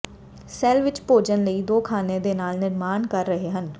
cell ਵਿਚ ਭੋਜਨ ਲਈ ਦੋ ਖ਼ਾਨੇ ਦੇ ਨਾਲ ਨਿਰਮਾਣ ਕਰ ਰਹੇ ਹਨ